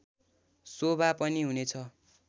शोभा पनि हुनेछ